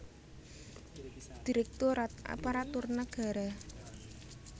Direktorat Aparatur Nagara